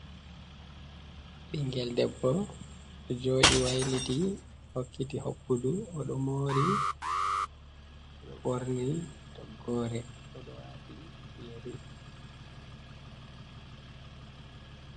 Ɓingel debbo ɗo joɗi wailiti hokkiti hokkudu ɗoɗo moori odo worni to gore odo wati yeri.